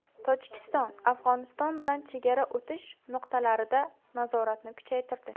Tojikiston Afg‘oniston bilan chegara o‘tish nuqtalarida nazoratni kuchaytirdi.